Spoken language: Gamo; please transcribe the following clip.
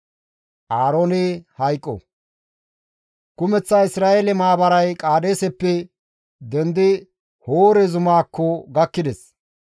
Kumeththa Isra7eele maabaray Qaadeeseppe dendi Hoore zumaakko gakkides.